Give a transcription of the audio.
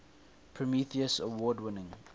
prometheus award winning